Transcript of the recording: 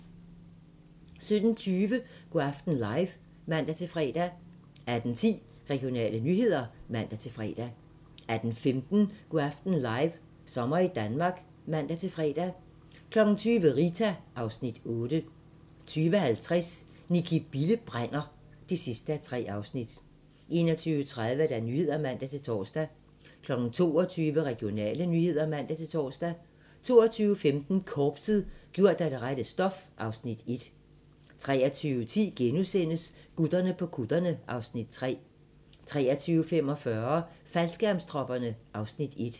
17:20: Go' aften live (man-fre) 18:10: Regionale nyheder (man-fre) 18:15: Go' aften live - sommer i Danmark (man-fre) 20:00: Rita (Afs. 8) 20:50: Nicki Bille brænder (3:3) 21:30: Nyhederne (man-tor) 22:00: Regionale nyheder (man-tor) 22:15: Korpset - gjort af det rette stof (Afs. 1) 23:10: Gutterne på kutterne (Afs. 3)* 23:45: Faldskærmstropperne (Afs. 1)